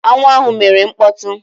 Aṅụ ahụ mere mkpọtụ.